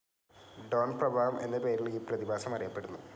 Don പ്രഭാവം എന്ന പേരിൽ ഈ പ്രതിഭാസം അറിയപ്പെടുന്നു.